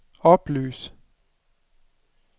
oplys